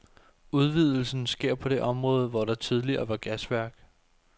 Udvidelsen sker på det område, hvor der tidligere var gasværk.